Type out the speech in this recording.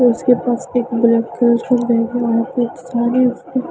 और उसके पास में एक ब्लैक कलर